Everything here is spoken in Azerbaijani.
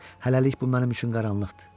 Hələlik bu mənim üçün qaranlıqdır.